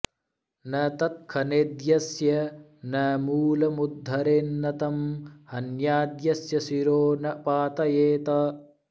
न तत्खनेद्यस्य न मूलमुद्धरे न्न तं हन्याद्यस्य शिरो न पातयेत्